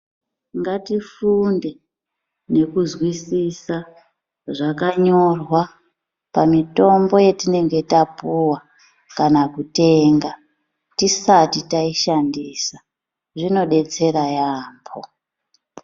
Ngati funde nekuzwisisa zvakanyorwa mitombo yatinenge tapuwa kana kutenga tisati taishandisa zvinodetsera yambo.